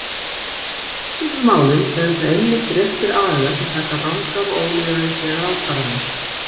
Í spillingarmálum eru það einmitt réttir aðilar sem taka rangar og ólýðræðislegar ákvarðanir.